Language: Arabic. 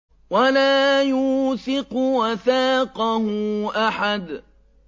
وَلَا يُوثِقُ وَثَاقَهُ أَحَدٌ